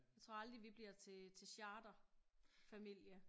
Jeg tror aldrig vi bliver til til charterfamilie